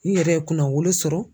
N yɛrɛ ye kunnawolo sɔrɔ